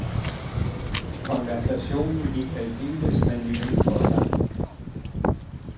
Konversationen gik aldeles manerligt for sig.